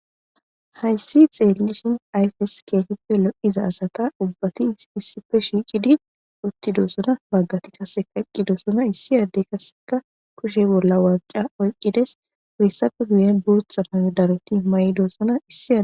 hayssi xeellishin ayfes keehippe lo7iza asata ubbati issife shiiqidi uttidoosona baggati kaseka eqqidoosona issi yaddey kaseka kushe bolla waanqa oyqqides woyssafe guyen bootha maye daroti may7idoosona issi aa